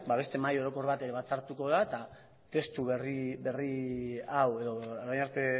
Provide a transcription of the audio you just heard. beste mahai orokor bat ere batzartuko da eta testu berri hau edo orain arte